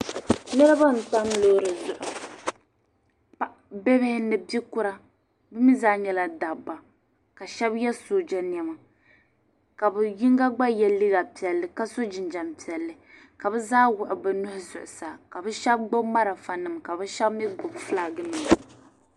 Niriba n-tam loori zuɣu. Bibihi ni bikura bɛ mi zaa nyɛla dabba ka shɛba ye sooja nɛma ka bɛ yiŋga gba ye liiga piɛlli ka so jinjam piɛlli ka bɛ zaa wuɣi bɛ nuhi zuɣusaa ka bɛ shɛba gbibi malifanima ka bɛ shɛba mi gbibi fulaakinima.